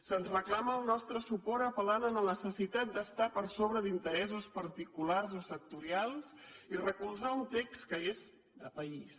se’ns reclama el nostre suport apel·lant la necessitat d’estar per sobre d’interessos particulars o sectorials i recolzar un text que és de país